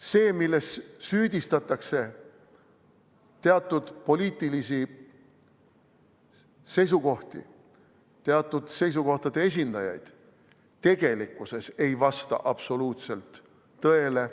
See, milles süüdistatakse teatud poliitilisi seisukohti, teatud seisukohtade esindajaid, tegelikkuses ei vasta absoluutselt tõele.